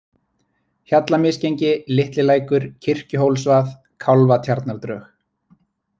Hjallamisgengi, Litli-Lækur, Kirkjuhólsvað, Kálfatjarnardrög